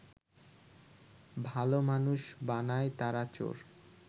ভালো মানুষ বানায় তারা চোর